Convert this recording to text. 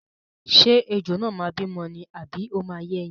Ṣé ejò náà máa bímọ ni àbí ó máa yé ẹyin?